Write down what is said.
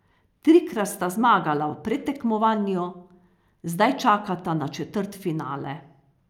Trikrat sta zmagala v predtekmovanju, zdaj čakata na četrtfinale.